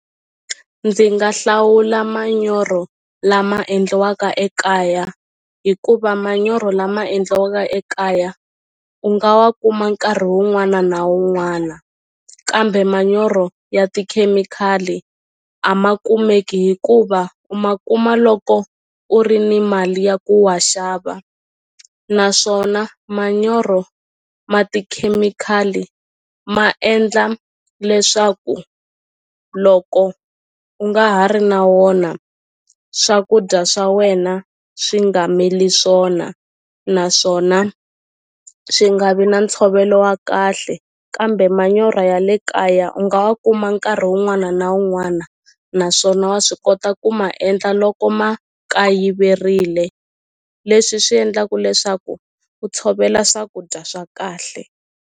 Ndzi nga hlawula manyoro lama endliwaka ekaya hikuva manyoro lama endliwaka ekaya u nga wa kuma nkarhi wun'wana na wun'wana kambe manyoro ya tikhemikhali a ma kumeki hikuva u ma kuma loko u ri ni mali ya ku wa xava naswona manyoro ma tikhemikhali ma endla leswaku loko u nga ha ri na wona swakudya swa wena swi nga mili swona naswona swi nga vi na ntshovelo wa kahle kambe manyora ya ya le kaya u nga wa kuma nkarhi wun'wana na wun'wana naswona wa swi kota ku ma endla loko ma kayiverile leswi swi endlaku leswaku u tshovela swakudya swa kahle.